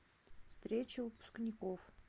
встреча выпускников